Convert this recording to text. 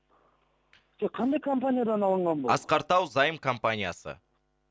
жоқ қандай компаниядан алынған бұл асқар тау заем компаниясы